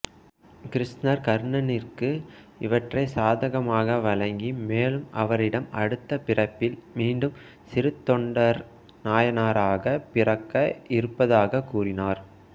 கிருஷ்ணர் கர்ணனிற்கு இவற்றை சாதகமாக வழங்கி மேலும் அவரிடம் அடுத்த பிறப்பில் மீண்டும் சிறுத்தொண்டர் நாயனாராக பிறக்க இருப்பதாக கூறினார்